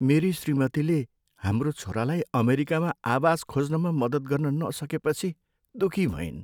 मेरी श्रीमतीले हाम्रो छोरालाई अमेरिकामा आवास खोज्नमा मद्दत गर्न नसकेपछि दुखी भइन्।